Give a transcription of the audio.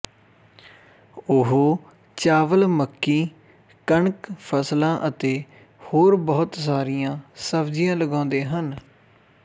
ਉਹ ਚਾਵਲ ਮੱਕੀ ਕਣਕ ਫਸਲਾਂ ਅਤੇ ਹੋਰ ਬਹੁਤ ਸਾਰੀਆਂ ਸਬਜ਼ੀਆਂ ਲਗਾਉਂਦੇ ਹਨ